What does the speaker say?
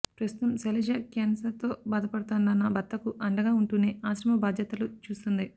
ప్రస్తుతం శైలజ క్యాన్సర్తో బాధపడుతోన్న భర్తకు అండగా ఉంటూనే ఆశ్రమ బాధ్యతలు చూస్తోంది